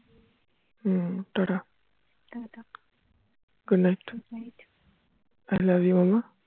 hmm tata tata good night i love you mammam